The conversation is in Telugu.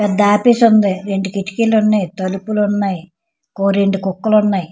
పెద్ద ఆఫీస్ ఉ ఉంది రెండు కిటికీలు ఉన్నయి తలుపులు ఉన్నయి ఓ రెండు కుక్కలు ఉన్నయి.